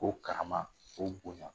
O Karaama , o bonya .